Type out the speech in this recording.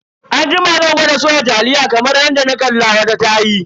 Anjima zan gwada soya taliya kamar yadda na kalla wata tayi.